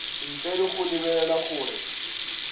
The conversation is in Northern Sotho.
ntle le go lebelela gore